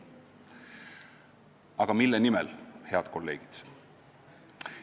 Aga mille nimel, head kolleegid?